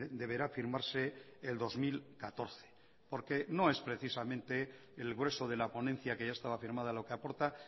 deberá firmarse el dos mil catorce porque no es precisamente el grueso de la ponencia que ya estaba firmada lo que aporta